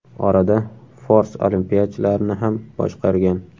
Orada fors olimpiyachilarini ham boshqargan.